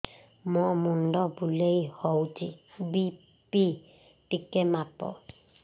ମୋ ମୁଣ୍ଡ ବୁଲେଇ ହଉଚି ବି.ପି ଟିକେ ମାପ